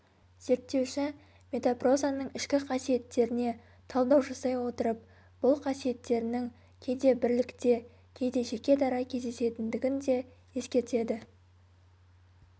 зерттеуші метапрозаның ішкі қасиеттеріне талдау жасай отырып бұл қасиеттерінің кейде бірлікте кейде жеке-дара кездесетіндігін де ескертеді